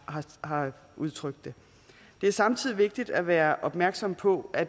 har udtrykt det det er samtidig vigtigt at være opmærksom på at